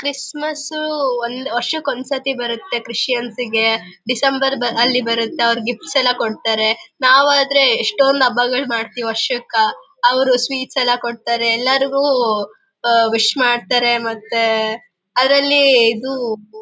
Christmas ಸು ವರ್ಷಕ್ಕೆ ಒಂದ್ಸತಿ ಬರುತ್ತೆ ಕ್ರಿಸ್ಟಿಯಾನ್ಸ್ಗೆ ಡಿಸೆಂಬರ್ ಅಲ್ಲಿ ಬರುತ್ತೆ ಅವ್ರು ಗಿಫ್ಟ್ ಎಲ್ಲ ಕೊಡ್ತಾರೆ ನಾವು ಆದ್ರೆ ಎಷ್ಟೊಂದು ಹಬ್ಬಗಳನ್ನೂ ಮಾಡ್ತೇವೆ ವರ್ಷಕ್ಕ ಅವ್ರಾದ್ರೇ ಸ್ವೀಟ್ ಎಲ್ಲ ಕೊಡ್ತಾರೆ ಎಲ್ಲರಿಗೆ ವಿಶ್ ಮಾಡ್ತಾರೆ ಮತ್ತೆ ಅದ್ರಲ್ಲಿ ಇದು --